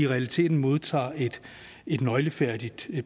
realiteten modtager et nøglefærdigt